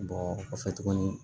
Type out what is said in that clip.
kɔfɛ tuguni